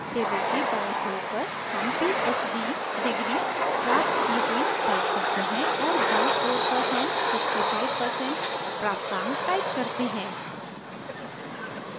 table के बायें ओर पर हम phd degree प्राप्त की हुई type करते हैं और दायें ओर पर हम 65% प्राप्तांक type करते हैं